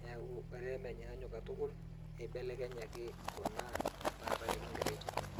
niaku olee menyaanyuk katuk, eibelekenyaki kuna etaata nikingira aitumia.